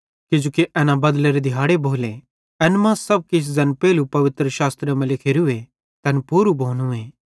किजोकि एना बदलेरे दिहाड़े भोले एन मां तैन सब किछ ज़ैन पेइलू पवित्रशास्त्रे मां लिखोरूए तैन पूरू भोनूए